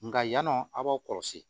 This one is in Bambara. Nka yan nɔ a b'aw kɔlɔsi